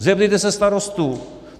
Zeptejte se starostů.